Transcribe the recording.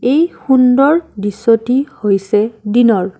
এই সুন্দৰ দৃশ্যটি হৈছে দিনৰ।